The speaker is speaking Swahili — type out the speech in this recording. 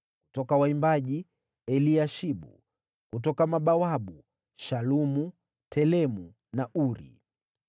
Kutoka waimbaji: Eliashibu. Kutoka mabawabu: Shalumu, Telemu na Uri.